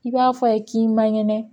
I b'a fɔ a ye k'i man kɛnɛ